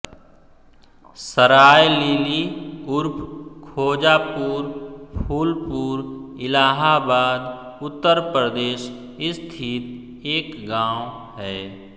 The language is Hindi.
सराय लीली उर्फ खोजापुर फूलपुर इलाहाबाद उत्तर प्रदेश स्थित एक गाँव है